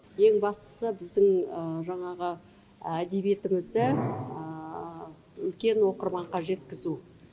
ең бастысы біздің жаңағы әдебиетімізді үлкен оқырманға жеткізу